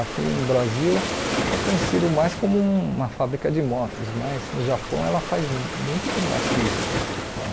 Aqui no Brasil é conhecido mais como uma fábrica de motos, mas no Japão ela faz muito mais que isso. A